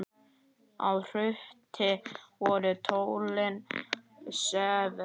Á Hrúti voru tólin sver.